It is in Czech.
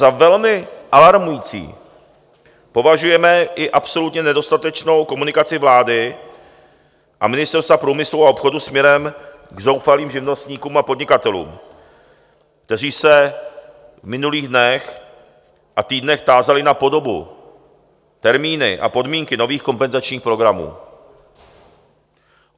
Za velmi alarmující považujeme i absolutně nedostatečnou komunikaci vlády a Ministerstva průmyslu a obchodu směrem k zoufalým živnostníkům a podnikatelům, kteří se v minulých dnech a týdnech tázali na podobu, termíny a podmínky nových kompenzačních programů.